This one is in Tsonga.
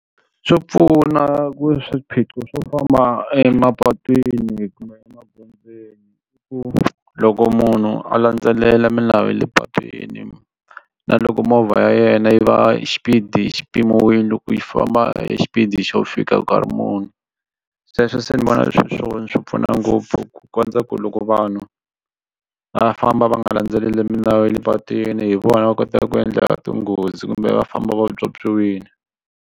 Swo pfuna ku swiphiqo swo famba emapatwini kumbe emagondzweni i ku loko munhu a landzelela milawu ya le patwini na loko movha ya yena yi va xipidi xi pimiwile loko yi fana famba xipidi xo fika nkarhi muni sweswo se ni vona sweswo swi pfuna ngopfu ku kondza ku loko vanhu va famba va nga landzeleli milawu ya le patwini hi vona va kota ku endla tinghozi kumbe va famba vatswotswiwile.